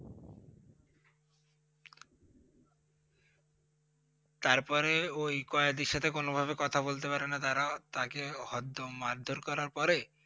তারপরে ওই কয়েদির সাথে কোনোভাবে কথা বলতে পারে না তারা, তাকে হরদ্দম মারধর করার পরে